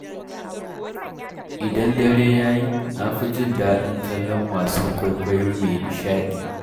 Idan dare ya yi, na fi jin daɗin kallon wasan kwaikwayo mai nishaɗi.